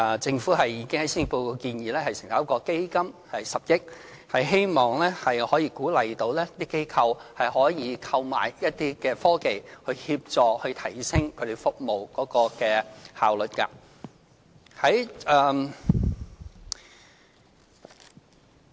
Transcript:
政府已經在施政報告建議成立一個10億元的基金，希望可以鼓勵機構購買一些科技，以協助提升他們的服務效率。